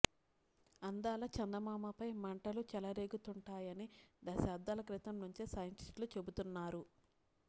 అందాల చందమామపై మంటలు చెలరేగుతుంటాయని దశాబ్దాల క్రితం నుంచే సైంటిస్టులు చెబుతున్నారు